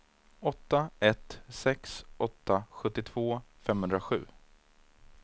åtta ett sex åtta sjuttiotvå femhundrasju